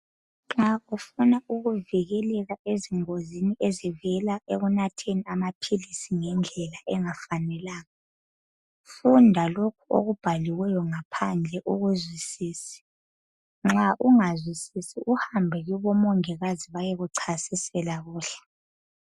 Nxa ufuna ukuvikeleka ezingozini ezivela ekunatheni amaphilisi ngendlela engafanelanga. Funda lokhu okubhaliweyo ngaphandle ukuzwisise. Nxa ungazwisisi, uhambe kubomongikazi. Bayekuchasisela kuhle.